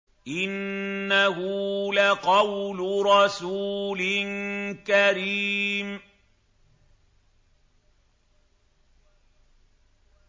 إِنَّهُ لَقَوْلُ رَسُولٍ كَرِيمٍ